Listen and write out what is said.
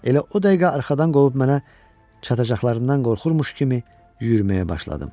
Elə o dəqiqə arxadan qolub mənə çatacaqlarından qorxurmuş kimi yürüməyə başladım.